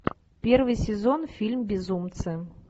первый сезон фильм безумцы